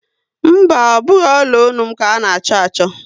Mba, ọ bụghị ọla ọnụ m ka a na-achọ achọ